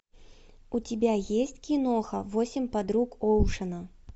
у тебя есть киноха восемь подруг оушена